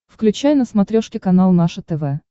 включай на смотрешке канал наше тв